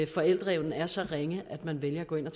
forældreevnen er så ringe at man vælger at gå ind og